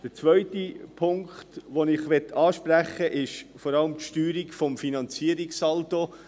Der zweite Punkt, den ich ansprechen möchte, betrifft vor allem die Steuerung des Finanzierungssaldos.